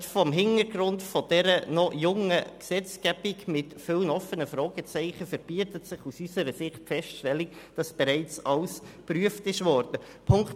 Gerade vor dem Hintergrund dieser noch jungen Gesetzgebung mit vielen Fragezeichen verbietet sich aus unserer Sicht die Feststellung, wonach bereits alles geprüft worden sei.